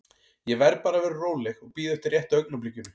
Ég verð bara að vera róleg og bíða eftir rétta augnablikinu.